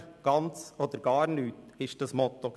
Entweder ganz oder gar nichts, war das Motto.